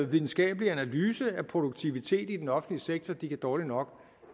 videnskabelig analyse af produktiviteten i den offentlige sektor de kan dårligt nok